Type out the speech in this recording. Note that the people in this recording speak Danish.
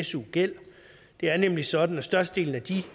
su gæld det er nemlig sådan at størstedelen af de